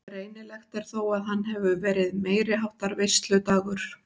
Greinilegt er þó að hann hefur verið meiriháttar veisludagur.